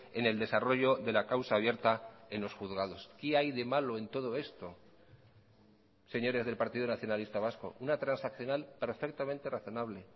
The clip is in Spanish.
en el desarrollo de la causa abierta en los juzgados qué hay de malo en todo esto señores del partido nacionalista vasco una transaccional perfectamente razonable